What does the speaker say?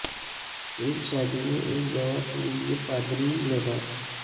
ایک شادی میں ایک گواہ کے لئے پادری لباس